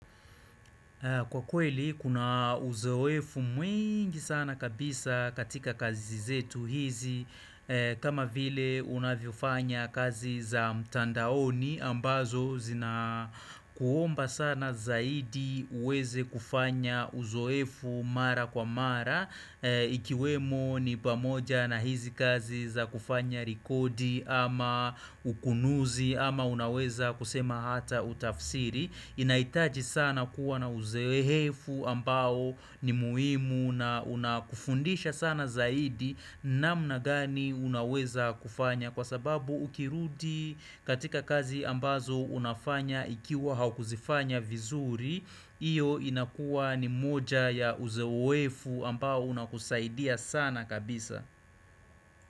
Kwa kweli kuna uzoefu mwingi sana kabisa katika kazi zetu hizi kama vile unavyofanya kazi za mtandaoni ambazo zinakuomba sana zaidi uweze kufanya uzoefu mara kwa mara Ikiwemo ni pamoja na hizi kazi za kufanya rekodi ama ukunuzi ama unaweza kusema hata utafsiri inaitaji sana kuwa na uzoehefu ambao ni muhimu na unakufundisha sana zaidi namna gani unaweza kufanya kwa sababu ukirudi katika kazi ambazo unafanya ikiwa haukuzifanya vizuri Iyo inakuwa ni moja ya uzoefu ambao unakusaidia sana kabisa.